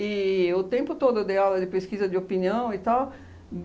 o tempo todo eu dei aula de pesquisa de opinião e tal.